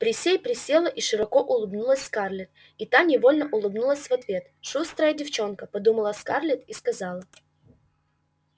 присей присела и широко улыбнулась скарлетт и та невольно улыбнулась в ответ шустрая девчонка подумала скарлетт и сказала